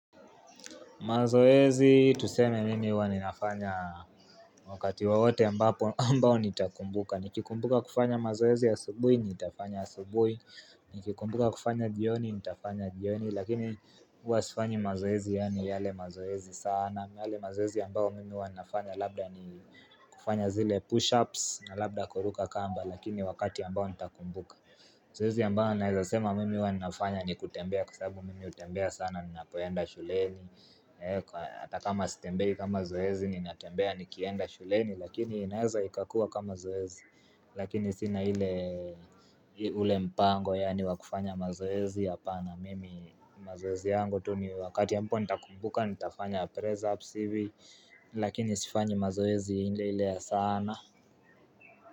Mazoezi tuseme mimi huwaninafanya wakati wawote ambao nitakumbuka Nikikumbuka kufanya mazoezi ya subui, nitafanya subui Nikikumbuka kufanya jioni, nitafanya jioni Lakini uwasifanyi mazoezi yani yale mazoezi sana yale mazoezi ambao mimi wanafanya labda ni kufanya zile pushups na labda kuruka kamba Lakini wakati ambao nitakumbuka Mzoezi ambao naizasema mimi wanafanya ni kutembea kusabu mimi utembea sana ninapoyenda shuleni ata kama sitembei kama zoezi ninatembea nikienda shuleni lakini inaeza ikakua kama zoezi lakini sina hile ule mpango yani wakufanya mazoezi hapana mimi mazoezi yangu tu ni wakati ambao nitakumbuka nitafanya presahapu hivi lakini sifanyi mazoezi hile hile ya sana.